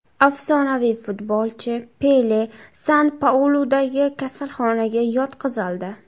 Afsonaviy futbolchi Pele San-Pauludagi kasalxonaga yotqizildi.